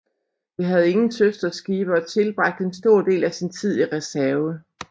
Det havde ingen søsterskibe og tilbragte en stor del af sin tid i reserve